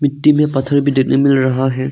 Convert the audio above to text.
मिट्टी में पत्थर भी देखने को मिल रहा है।